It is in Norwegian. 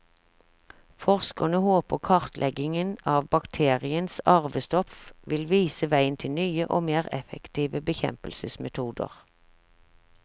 Forskerne håper kartleggingen av bakteriens arvestoff vil vise veien til nye og mer effektive bekjempelsesmetoder.